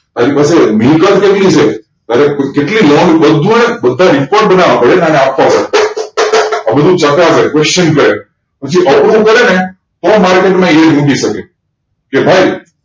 તારી પાસે મિલકત કેટલી છે તારે કેટલી લોન જોવે બધ report બનાવવા પડે અને આપવા પડે આ બધુ ચકાસે questionnaire કરે પછી આવુ બધુ કરે ને તો મૂકી market શકે કે ભાઈ